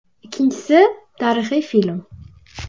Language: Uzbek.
Ikkinchisi, tarixiy film.